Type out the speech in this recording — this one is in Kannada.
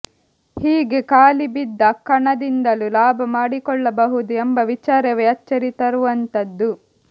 ಹೀಗೆ ಖಾಲಿ ಬಿದ್ದ ಕಣದಿಂದಲೂ ಲಾಭ ಮಾಡಿಕೊಳ್ಳಬಹುದು ಎಂಬ ವಿಚಾರವೇ ಅಚ್ಚರಿ ತರುವಂಥದ್ದು